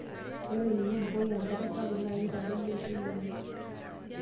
Ore tenibukoki enkare sapuk naa keitadoyio eishoi enye.